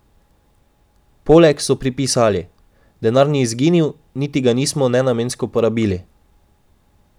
Poleg so pripisali: "Denar ni izginil, niti ga nismo nenamensko porabili.